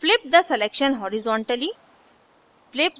flip the selection horizontally